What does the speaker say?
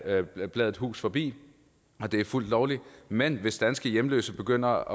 af bladet bladet hus forbi og det er fuldt lovligt men hvis danske hjemløse begynder